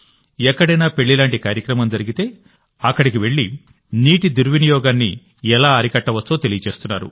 ఎక్కడైనా పెళ్లి లాంటి కార్యక్రమం జరిగితే అక్కడికి వెళ్లి నీటి దుర్వినియోగాన్ని ఎలా అరికట్టవచ్చో తెలియజేస్తున్నారు